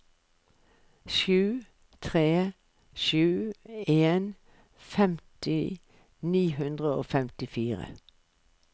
sju tre sju en femti ni hundre og femtifire